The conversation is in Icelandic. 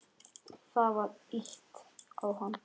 Það var ýtt á hann.